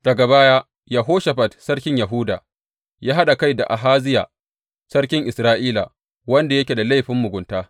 Daga baya, Yehoshafat sarkin Yahuda ya haɗa kai da Ahaziya sarkin Isra’ila, wanda yake da laifin mugunta.